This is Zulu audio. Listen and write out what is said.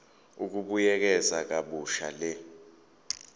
ukubuyekeza kabusha le